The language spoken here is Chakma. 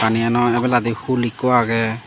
eyeno ebeladi pool ikko agey.